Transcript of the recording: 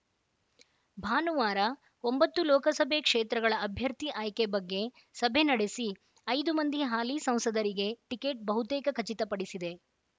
ಭಾನುವಾರ ಒಂಬತ್ತು ಲೋಕಸಭೆ ಕ್ಷೇತ್ರಗಳ ಅಭ್ಯರ್ಥಿ ಆಯ್ಕೆ ಬಗ್ಗೆ ಸಭೆ ನಡೆಸಿ ಐದು ಮಂದಿ ಹಾಲಿ ಸಂಸದರಿಗೆ ಟಿಕೆಟ್‌ ಬಹುತೇಕ ಖಚಿತಪಡಿಸಿದೆ